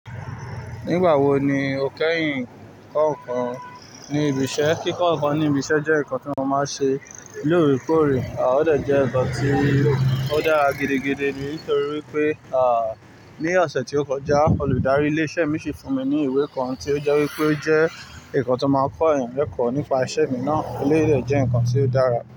Nígbà wo ni o kẹ́yìn kọ́ ǹkan ní ibi iṣẹ́? Kíkọ́ ǹkan ní ibi iṣẹ́ jẹ́ ǹkan tí mo máa ń ṣe lóòrèkóòrè, à ọ dẹ jẹ́ ǹkan tí ó dára gidigidi nítorí wípé, à ní ọ̀sẹ̀ tí ó kọjá olùdarí ilé iṣẹ́ mi si fún mi ní ìwé kan tí ó jẹ́ wípé o jẹ́ ǹkan tó máa ń kọ́yàn leko nípa isẹ́ mi náà, eléyi de jẹ́ ǹkan tí ó dára.